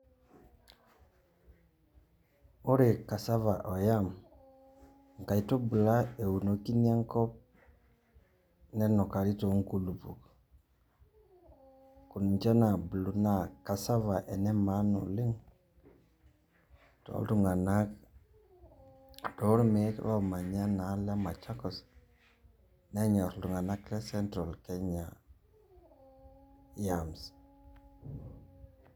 Ore cassava o yam, inkaitubula eunikini enkop nenukari tonkulukuok. Ninche nabulu naa cassava enemaana oleng',toltung'anak tolmeek lomanya naa enaalo e Machakos, nenyor iltung'anak le Central Kenya, yams.